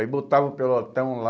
Aí botava o pelotão lá.